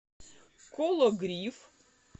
кологрив